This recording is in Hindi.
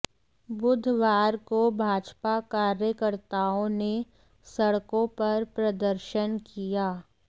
बुधवार को भाजपा कार्यकर्ताओं ने सड़कों पर प्रदर्शन किया